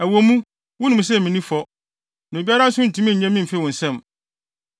Ɛwɔ mu, wunim sɛ minni fɔ, na obiara nso ntumi nnye me mfi wo nsam.